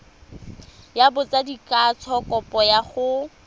ya botsadikatsho kopo ya go